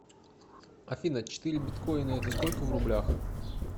афина четыре биткоина это сколько в рублях